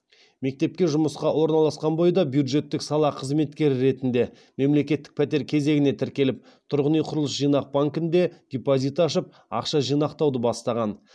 мектепке жұмысқа орналасқан бойда бюджеттік сала қызметкері ретінде мемлекеттік пәтер кезегіне тіркеліп тұрғын үй құрылыс жинақ банкінде депозит ашып ақша жинақтауды бастаған